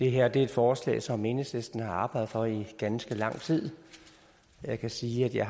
det her er et forslag som enhedslisten har arbejdet for i ganske lang tid jeg kan sige at jeg